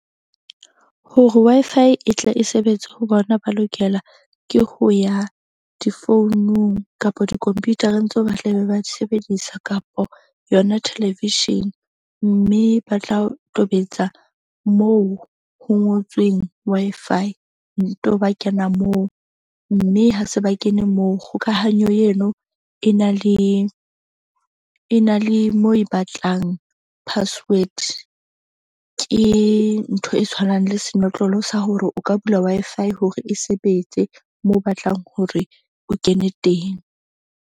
Hore Wi-Fi e tle e sebetse ho bona, ba lokela ke ho ya difounung kapa di-computer-eng tseo ba tla be ba di sebedisa, kapo yona television. Mme ba tla tobetsa moo ho ngotsweng Wi-Fi nto ba kena moo. Mme ha se ba kene moo kgokahanyo yeno e na le mo e batlang password. Ke ntho e tshwanang le senotlolo sa hore o ka bula Wi-Fi hore e sebetse moo o batlang hore o kene teng.